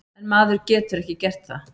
En maður getur ekki gert það.